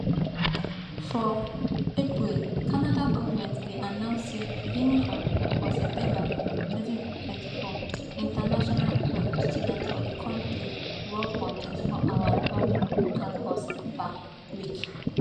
for april canada goment bin announce say beginning for september 2024 international um students for di kontri work for 24 hours off campus per week